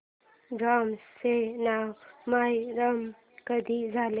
Burma चे नाव Myanmar कधी झाले